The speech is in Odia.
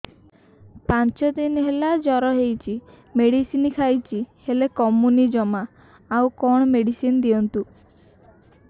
ପାଞ୍ଚ ଦିନ ହେଲା ଜର ହଉଛି ମେଡିସିନ ଖାଇଛି ହେଲେ କମୁନି ଜମା ଆଉ କଣ ମେଡ଼ିସିନ ଦିଅନ୍ତୁ